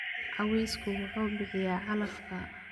Cawsku wuxuu bixiyaa calafka.